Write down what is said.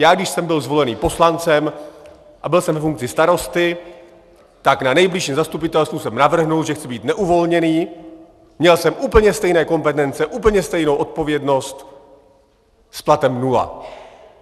Já když jsem byl zvolen poslancem a byl jsem ve funkci starosty, tak na nejbližším zastupitelstvu jsem navrhl, že chci být neuvolněný, měl jsem úplně stejné kompetence, úplně stejnou odpovědnost s platem nula.